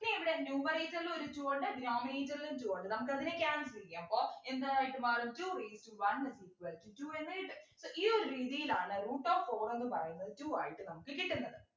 ഇനിയിവിടെ numerator ല് ഒരു two ഉണ്ട് denominator ൽ ഒരു two ഉണ്ട് നമുക്കത്തിനെ cancel ചെയ്യാം അപ്പൊ എന്തായിട്ട് മാറും two raised to one is equal to two എന്ന് കിട്ടും ഈ ഒരു രീതിയിലാണ് root of four എന്നു പറയുന്നത് two ആയിട്ട് നമുക്ക് കിട്ടുന്നത്